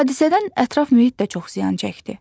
Hadisədən ətraf mühit də çox ziyan çəkdi.